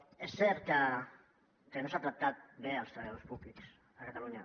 és cert que no s’han tractat bé els treballadors públics a catalunya